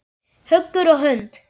Hugur og hönd.